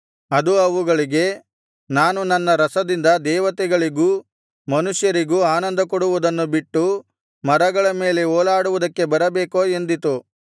ಅದು ಅವುಗಳಿಗೆ ನಾನು ನನ್ನ ರಸದಿಂದ ದೇವತೆಗಳಿಗೂ ಮನುಷ್ಯರಿಗೂ ಆನಂದಕೊಡುವುದನ್ನು ಬಿಟ್ಟು ಮರಗಳ ಮೇಲೆ ಓಲಾಡುವುದಕ್ಕೆ ಬರಬೇಕೋ ಎಂದಿತು